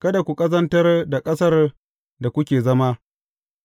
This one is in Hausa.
Kada ku ƙazantar da ƙasar da kuke zama,